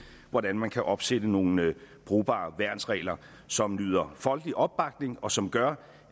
hvordan man kan opsætte nogle brugbare værnsregler som nyder folkelig opbakning og som gør